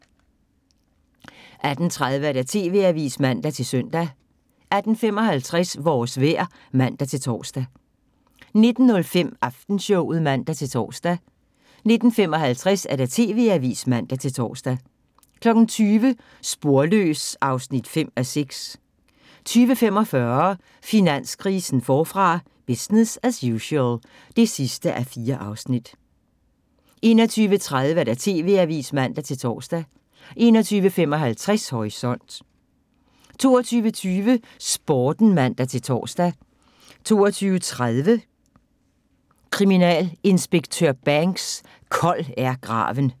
18:30: TV-avisen (man-søn) 18:55: Vores vejr (man-tor) 19:05: Aftenshowet (man-tor) 19:55: TV-avisen (man-tor) 20:00: Sporløs (5:6) 20:45: Finanskrisen forfra – business as usual (4:4) 21:30: TV-avisen (man-tor) 21:55: Horisont 22:20: Sporten (man-tor) 22:30: Kriminalinspektør Banks: Kold er graven